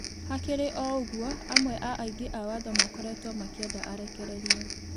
Hakĩrĩ o ũgũo amwe a aĩgi a watho makoretwo makĩenda arekererĩo